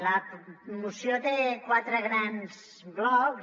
la moció té quatre grans blocs